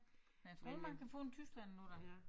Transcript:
Men jeg tror man kan få den i Tyskland nu da